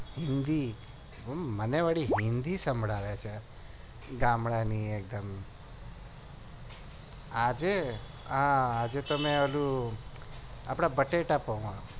મને વળી હિન્દી સભળાય છે ગામડાની એકદમ આજે તો ઓંલું બટેટા પેઆ